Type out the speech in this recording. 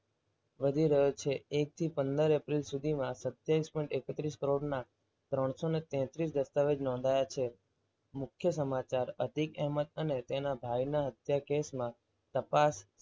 વધી રહ્યો છે એક થી પંદર એપ્રિલ સુધીમાં સત્તાવીસ પોઈન્ટ એકત્રીસ કરોડના ત્રણસો ને તેત્રીસ દસ્તાવેજ નોંધાયા છે. મુખ્ય સમાચાર અતિક અહેમદ અને તેના ભાઈના હત્યા કેસમાં તપાસ.